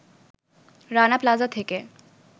Rana Plaza থেকে